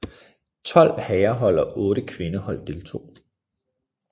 Tolv herrehold og otte kvindehold deltog